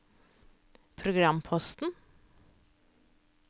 programposten